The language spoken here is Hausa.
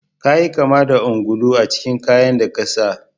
Ka yi kama da ungulu a cikin kayan da ka sa.